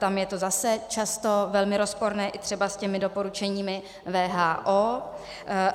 Tam je to zase často velmi rozporné třeba i s těmi doporučeními WHO.